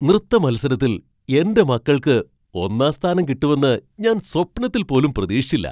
നൃത്തമത്സരത്തിൽ എൻ്റെ മക്കൾക്ക് ഒന്നാം സ്ഥാനം കിട്ടുമെന്ന് ഞാൻ സ്വപ്നത്തിൽ പോലും പ്രതീക്ഷിച്ചില്ല.